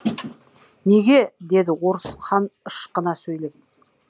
неге деді орыс хан ышқына сөйлеп